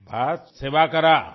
بس سوا کیجیے